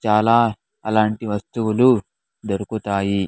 చాలా అలాంటి వస్తువులు దొరుకుతాయి.